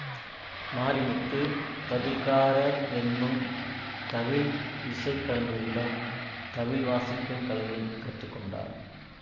மாரிமுத்து தவில்காரர் என்னும் தவில் இசை கலைஞரிடம் தவில் வாசிக்கும் கலையைக் கற்றுகொண்டார்